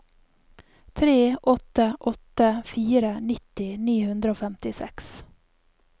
tre åtte åtte fire nitti ni hundre og femtiseks